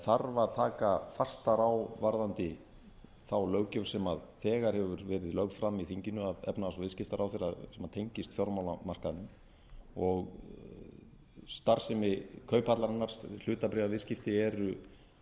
þarf að taka fastar á varðandi löggjöfina sem þegar hefur verið lögð fram í þinginu að efnahags og viðskiptaráðherra sem tengist fjármálamarkaðnum og starfsemi kauphallarinnar hlutabréfaviðskipti eru